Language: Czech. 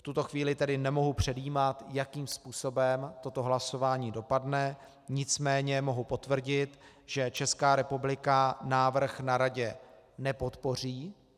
V tuto chvíli tedy nemohu předjímat, jakým způsobem toto hlasování dopadne, nicméně mohu potvrdit, že Česká republika návrh na Radě nepodpoří.